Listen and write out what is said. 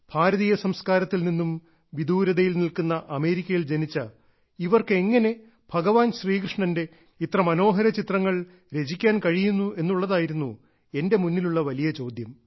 ഭാരതീയ സംസ്കാരത്തിൽ നിന്നും വിദൂരതയിൽ നിൽക്കുന്ന അമേരിക്കയിൽ ജനിച്ച ഇവർക്ക് എങ്ങനെ ഭഗവാൻ ശ്രീകൃഷ്ണന്റെ ഇത്ര മനോഹര ചിത്രങ്ങൾ രചിക്കാൻ കഴിയുന്നു എന്നുള്ളതായിരുന്നു എന്റെ മുന്നിലുള്ള വലിയ ചോദ്യം